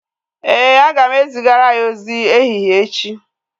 Éè, aga m zigara ya ozi ehihie echi